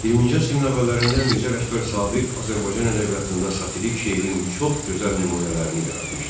20-ci əsrin əvvəllərində Mirzə Ələkbər Sabir Azərbaycan ədəbiyyatında satirik şeirin çox gözəl nümunələrini yaratmışdı.